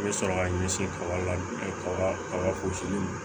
I bɛ sɔrɔ ka ɲɛsin kaba la kaba